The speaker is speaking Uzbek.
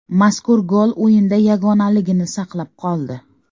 Mazkur gol o‘yinda yagonaligini saqlab qoldi.